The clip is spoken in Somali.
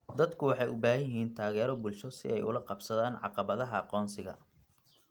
Dadku waxay u baahan yihiin taageero bulsho si ay ula qabsadaan caqabadaha aqoonsiga.